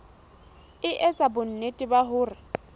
e etsa bonnete ba hore